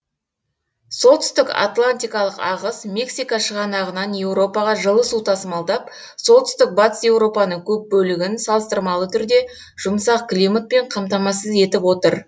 солтүстік атлантикалық ағыс мексика шығанағынан еуропаға жылы су тасымалдап солтүстік батыс еуропаның көп бөлігін салыстырмалы түрде жұмсақ климатпен қамтамасыз етіп отыр